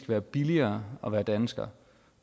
være billigere at være dansker